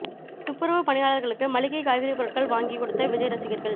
துப்புரவு பணியாளர்களுக்கு மளிகை காய்கறி பொருட்கள் வாங்கி கொடுத்த விஜய் ரசிகர்கள்